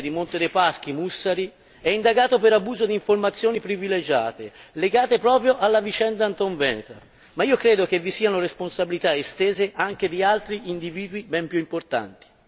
Lo stesso ex presidente di Monte dei Paschi, Mussari, è indagato per abuso di informazioni privilegiate legate proprio alla vicenda Antonveneta, ma credo che vi siano responsabilità estese anche di altri individui ben più importanti.